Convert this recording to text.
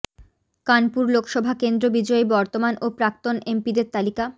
কানপুর লোকসভা কেন্দ্র বিজয়ী বর্তমান ও প্রাক্তন এমপিদের তালিকা